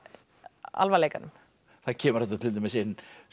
alvarleikanum það kemur þarna til dæmis inn